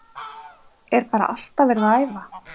Er bara alltaf verið að æfa?